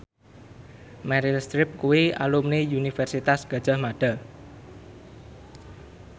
Meryl Streep kuwi alumni Universitas Gadjah Mada